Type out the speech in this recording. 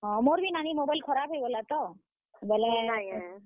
ମୋର ବି ନାନୀ mobile ଖରାପ ହେଇଗଲା ତ ବେଲେ।